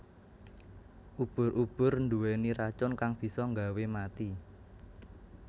Ubur ubur nduweni racun kang bisa nggawe mati